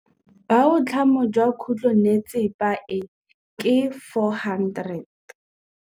Boatlhamô jwa khutlonnetsepa e, ke 400.